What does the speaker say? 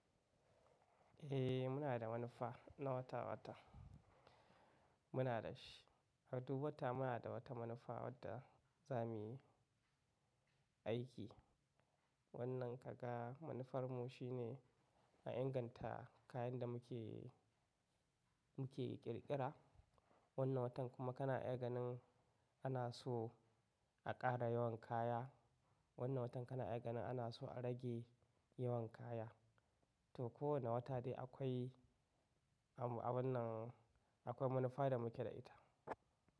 Eh muna da manufa na wata-wata, muna da shi. A duk wata muna da wata manufa wadda za muyi aiki. Wannan kaga manufarmu shine a inganta kayan da muke, muke ƙirƙira. Wannan watan kuma kana iya ganin ana so a ƙara yawan kaya. Wannan watan kana iya ganin ana so a rage yawan kaya. To kowane wata dai akwai a wannan, akwai manufa da muke da ita.